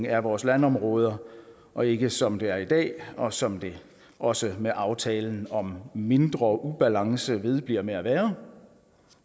af vores landområder og ikke som det er i dag og som det også med aftalen om en mindre ubalance vedbliver med at være